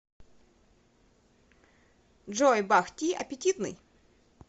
джой бах ти аппетитный